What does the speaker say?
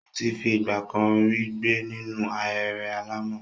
Ó ti fi ìgbà kan rí gbé nínú ahéré alàmọ̀.